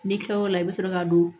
N'i kila o la i bɛ sɔrɔ k'a don